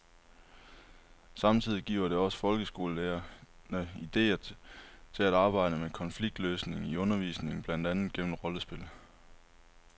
Samtidig giver det også folkeskolelærerne idéer til at arbejde med konfliktløsning i undervisningen, blandt andet gennem rollespil.